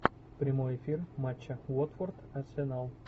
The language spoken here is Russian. прямой эфир матча уотфорд арсенал